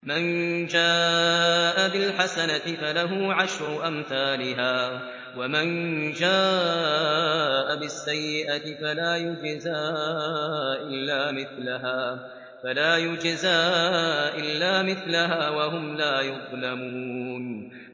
مَن جَاءَ بِالْحَسَنَةِ فَلَهُ عَشْرُ أَمْثَالِهَا ۖ وَمَن جَاءَ بِالسَّيِّئَةِ فَلَا يُجْزَىٰ إِلَّا مِثْلَهَا وَهُمْ لَا يُظْلَمُونَ